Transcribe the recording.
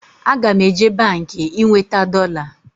Aga m eje Baankị ị nweta dọla